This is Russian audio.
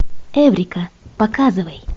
эврика показывай